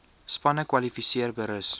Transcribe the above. spanne kwalifiseer berus